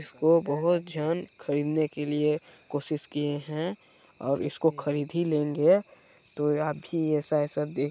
इसको बोहत झन खरीदने के लिए कोशिश किये हैं और इसको खरीद ही लेंगे तो या भी ऐसा ऐसा --